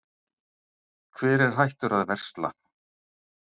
Hver er hættur að versla?